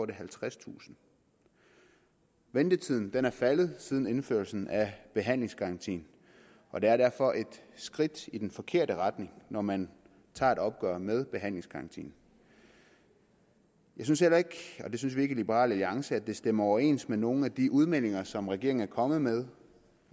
det halvtredstusind ventetiden er faldet siden indførelsen af behandlingsgarantien og det er derfor et skridt i den forkerte retning når man tager et opgør med behandlingsgarantien jeg synes heller ikke og det synes vi ikke i liberal alliance at det stemmer overens med nogen af de udmeldinger som regeringen er kommet med